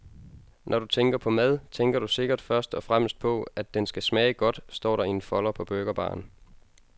Når du tænker på mad, tænker du sikkert først og fremmest på, at den skal smage godt, står der i en folder på burgerbaren.